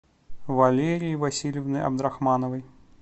валерии васильевны абдрахмановой